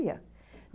ia.